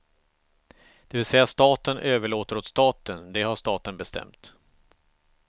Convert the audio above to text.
Det vill säga staten överlåter åt staten, det har staten bestämt.